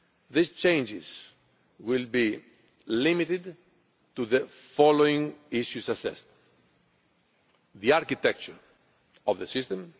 These changes will be limited to the following issues assessed the architecture of the system